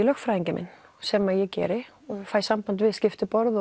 lögfræðinginn minn sem ég geri og fæ samband við skiptiborð